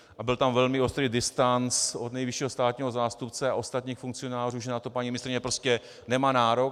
A byl tam velmi ostrý distanc od nejvyššího státního zástupce a ostatních funkcionářů, že na to paní ministryně prostě nemá nárok.